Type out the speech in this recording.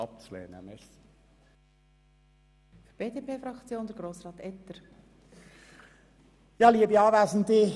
Deshalb bitten wir Sie, diesen Antrag abzulehnen.